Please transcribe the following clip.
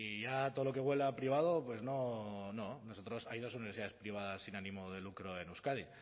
ya todo lo que huela a privado pues no no nosotros hay dos universidades privadas sin ánimo de lucro en euskadi